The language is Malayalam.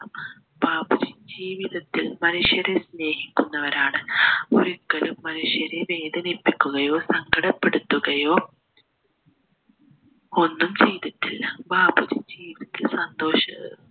ബാപ്പുജി ജീവിതത്തിൽ മനുഷ്യരെ സ്നേഹിക്കുന്നവരാണ് ഒരിക്കലും മനുഷ്യനെ വേദനിപ്പിക്കുകയോ സങ്കടപെടുത്തുകയോ ഒന്നും ചെയ്തിട്ടില്ല ബാപ്പുജി ജീവിച്ച സന്തോഷ